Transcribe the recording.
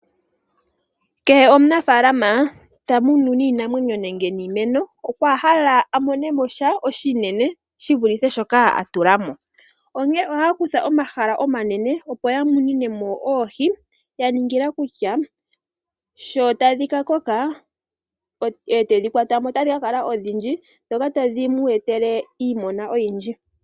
Kehe omunafaalama tamunu iinamwenyo nenge iimeno okwa hala amone iimaliwa shivulithe shoka atulamo, onkene ohaya kutha omahala omanene opo yamuninemo oohi, yaningila kutya sho tadhi ka koka etedhi kwatamo, otadhi ka kala odhindji ndhoka tadhi mu etele iiyemo oyindji.